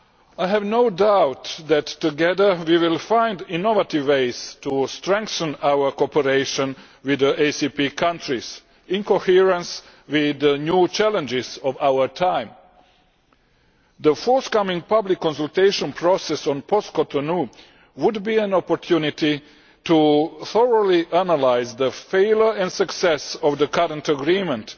I have no doubt that together we will find innovative ways to strengthen our cooperation with the ACP countries in coherence with the new challenges of our times. The forthcoming public consultation process on post Cotonou would be an opportunity to thoroughly analyse the failure and success of the current agreement